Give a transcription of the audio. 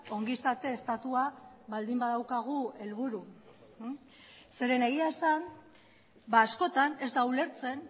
ongizate estatua baldin badaukagu helburu zeren egia esan askotan ez da ulertzen